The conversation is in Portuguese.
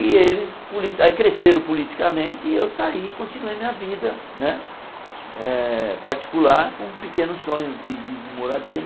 E eles poli aí cresceram politicamente e eu saí, continuei minha vida né eh particular com pequenos sonhos de de de moradia.